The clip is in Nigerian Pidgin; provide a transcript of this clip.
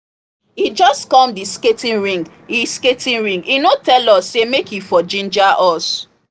e just come the skating rink e skating rink e no tell us say make e for ginger us